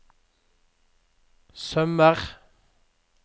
sømmer